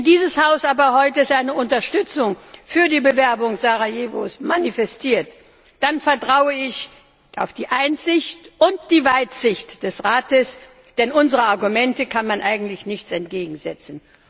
Wenn dieses Haus aber heute seine Unterstützung für die Bewerbung Sarajevos manifestiert, dann vertraue ich auf die Einsicht und die Weitsicht des Rates, denn unseren Argumenten kann man eigentlich nichts entgegensetzen.